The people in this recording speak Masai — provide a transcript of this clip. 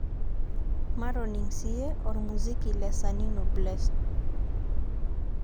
matoning siye ormuziki le sanino bless